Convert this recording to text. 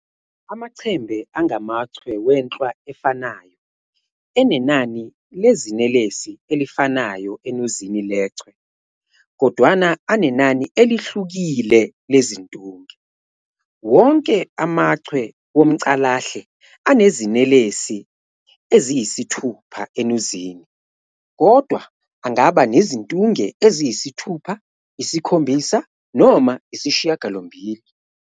Amachembe angamachwe wenhlwa efanayo, enenani lezinelesi elifanayo enuzini lechwe, kodwana anenani "elihlukile" lezintunge. Wonke amaChwe womCalahle anezinelesi eziyisi-6 enuzini, kodwa angaba nezintunge eziyisi-6, isi-7 noma isi-8.